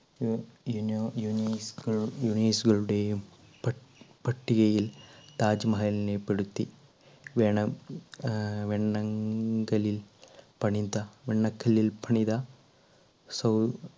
യു~യുനു~യുനീസു~യുനീസുകളുടെയും പ~പട്ടികയിൽ താജ്മഹലിനെ പെടുത്തി വേണ ആ വെണ്ണങ്കലിൽ പണിത വെണ്ണക്കല്ലിൽ പണിത സൗ